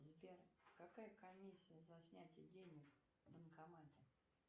сбер какая комиссия за снятие денег в банкомате